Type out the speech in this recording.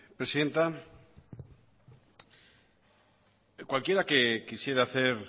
presidenta cualquiera que quisiera hacer